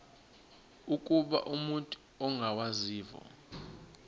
ukuba umut ongawazivo